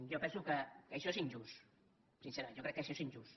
jo penso que això és injust sincerament jo crec que això és injust